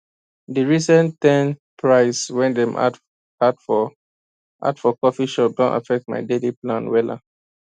de recent ten price way dem add for add for coffee shop don affect my daily plan wella